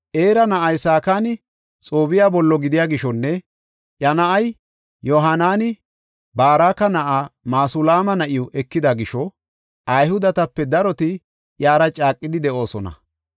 Era na7ay Sakani, Xoobbiya bollo gidiya gishonne iya na7ay Yohaanani Baraka na7aa Masulaama na7iw ekida gisho, Ayhudetape daroti iyara caaqidi de7oosona.